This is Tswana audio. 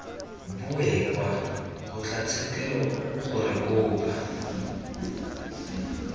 boe kwa kgotlatshekelo gore kopo